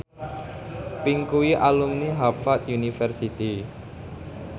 Pink kuwi alumni Harvard university